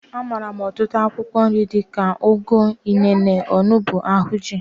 A maara m ọtụtụ akwụkwọ nri dika, ugu, inene, onugbu, ahinji.